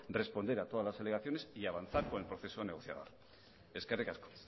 responder a todas las alegaciones y avanzar con el proceso negociador eskerrik asko